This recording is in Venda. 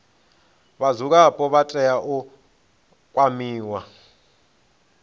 vhadzulapo vha tea u kwamiwa